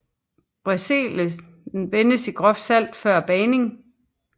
Brezelen vendes i groft salt før bagningen